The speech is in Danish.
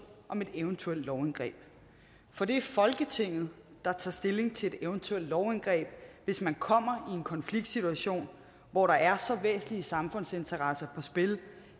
om et eventuelt lovindgreb for det er folketinget der tager stilling til et eventuelt lovindgreb hvis man kommer i en konfliktsituation hvor der er så væsentlige samfundsinteresser på spil